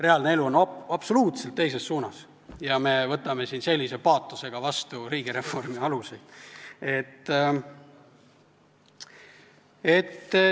Reaalne elu läheb absoluutselt teises suunas ja me võtame siin sellise paatosega vastu riigireformi aluseid.